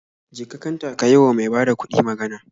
Je ka kanta ka yi wa mai bada kuɗi magan